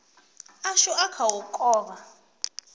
ashu a kha u kovha